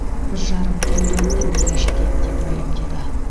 бір жарым триллион теңгеге жетеді деп мәлімдеді